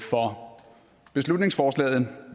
for beslutningsforslaget